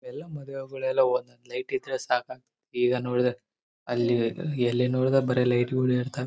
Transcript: ಎಲ್ಲಾ ಮದ್ವೆಗೂಳೆಲ್ಲ ಲೈಟ್ ಇದ್ರೆ ಸಾಕ ಈಗ ನೋಡಿದ್ರೆ ಅಲ್ಲಿ ಎಲ್ಲಿ ನೋಡಿದ್ರೆ ಅಲ್ಲಿ ಬರಿ ಲೈಟ್ಗಳು ಇರ್ತವೆ.